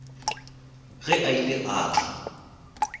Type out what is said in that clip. ge a ile a tla